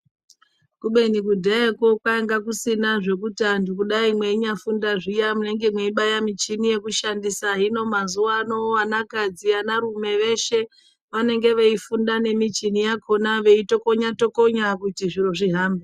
Kubeni kudhayakwo kwainga kusina zvekuti antu kudai meinyafunda zviya munenge meibaya muchini yekushandisa. Hino mazuvana vanakadzi anarume veshe vanenge veifunda nemichini yakona veyitokonya tokonya kuti zviro zvihambe.